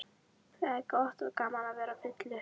Það er gott og gaman að vera fullur.